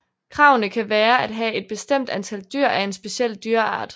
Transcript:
Kravene kan være at have et bestemt antal dyr af en speciel dyreart